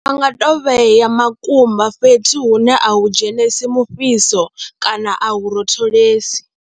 Vha nga tou vhea makumba fhethu hune a hu dzhenisi mufhiso kana a hu rotholesi.